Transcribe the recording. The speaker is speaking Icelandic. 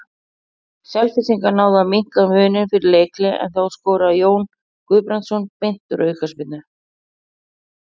Selfyssingar náðu að minnka muninn fyrir leikhlé en þá skoraði Jón Guðbrandsson beint úr aukaspyrnu.